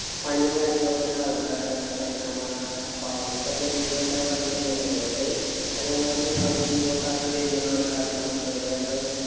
പണീം കാര്യങ്ങളും ഒക്കെ ഉള്ള ആള്‍ക്കാരാണ്. ഞങ്ങള് കളിയ്ക്കാന്‍ പോണ ആള്‍ക്കാരാണ്. അപ്പോ അവര്‍ക്കെന്ന leave ഉണ്ടാവാ എന്നറിയാൻ പറ്റില്ലല്ലോ. ചെലൊരു പണീം leave ഒക്കെ ആക്കി വരുന്ന ആള്‍ക്കാര് ഉണ്ടാകും. ചെലവര് ഞങ്ങള്